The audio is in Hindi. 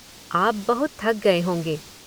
आप बहुत थक गए होंगे।